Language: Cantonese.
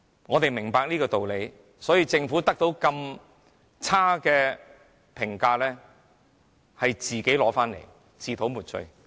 我們明白箇中道理，政府得到如此差劣的評價確實咎由自取、自討沒趣。